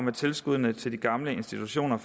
at tilskuddene til de gamle institutioner